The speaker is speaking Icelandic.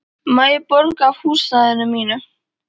Má ég borga af húsnæðinu mínu?